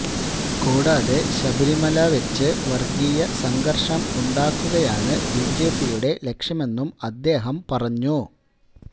കൂടാതെ ശബരിമല വെച്ച് വർഗീയ സംഘർഷം ഉണ്ടാക്കുകയാണ് ബിജെപിയുടെ ലക്ഷ്യമെന്നും അദ്ദേഹം പറഞ്ഞു